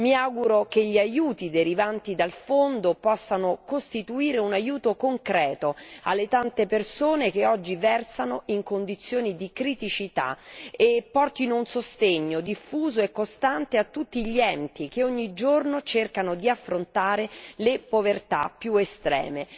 Mi auguro che gli aiuti derivanti dal Fondo possano costituire un aiuto concreto per le tante persone che oggi versano in condizioni di criticità e portino un sostegno diffuso e costante a tutti gli enti che ogni giorno cercano di affrontare le povertà più estreme.